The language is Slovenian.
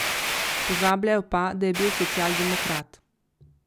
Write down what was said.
Pozabljajo pa, da je bil socialdemokrat.